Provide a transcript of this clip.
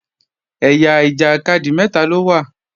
Ẹ̀yà ìjàkadì mẹ́ta ló wà